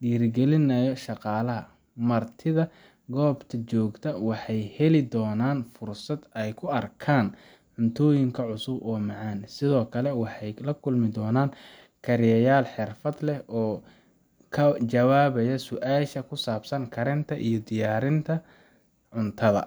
dhiirrigelinayo shaqaalaha. Martida goobta joogta waxay heli doonaan fursad ay ku arkaan cuntooyin cusub oo macaan, sidoo kale waxay la kulmi doonaan kariyeyaal xirfad leh oo ka jawaabaya su’aalaha ku saabsan karinta iyo diyaarinta cuntada.